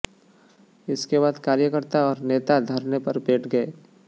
इसके बाद कार्यकर्ता और नेता धरने पर बैठ गए